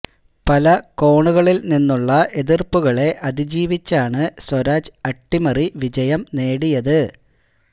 പല കോണുകളിൽ നിന്നുള്ള എതിർപ്പുകളെ അതിജീവിച്ചാണ് സ്വരാജ് അട്ടിമറി വിജയം നേടിയത്